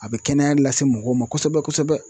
A bɛ kɛnɛya lase mɔgɔw ma kosɛbɛ-kosɛbɛ.